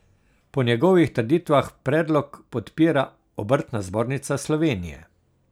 Po njegovih trditvah predlog podpira Obrtna zbornica Slovenije.